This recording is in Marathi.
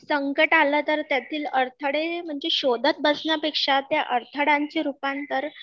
संकट आलं तर त्यातील अडथळे म्हणजे शोधत बसण्यापेक्षा त्या अडथळ्यांचे रुपांतर